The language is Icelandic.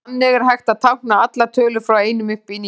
Þannig er hægt að tákna allar tölur frá einum upp í níu.